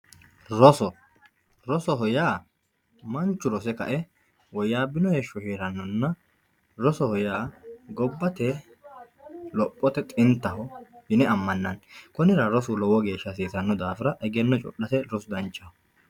roso, rosoho yaa manchu rose ka"e woyyaabbino heshsho heerannonna rosoho yaa gobbate lophote xintaho yine ammannanni konnira rosu lowo geeshsha hasiisanno daafira egenno codhate rosu danchaho.